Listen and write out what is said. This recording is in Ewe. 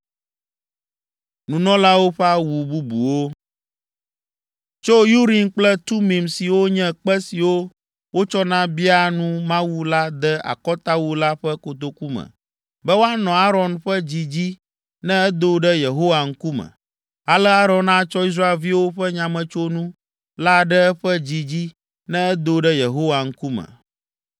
Tsɔ Urim kple Tumim siwo nye kpe siwo wotsɔna biaa nu Mawu la de akɔtawu la ƒe kotoku me be woanɔ Aron ƒe dzi dzi ne edo ɖe Yehowa ŋkume. Ale Aron atsɔ Israelviwo ƒe nyametsonu la ɖe eƒe dzi dzi ne edo ɖe Yehowa ŋkume.